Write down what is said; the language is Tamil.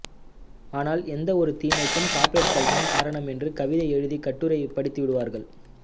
ஆனால் எந்த ஒரு தீமைக்கும் கார்ப்பரேட்டுகள்தான் காரணம் என்று கவிதை எழுதி கட்டுரை படித்துவிடுவார்கள்